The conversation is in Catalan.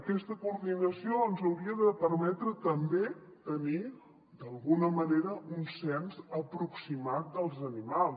aquesta coordinació ens hauria de permetre també tenir d’alguna manera un cens aproximat dels animals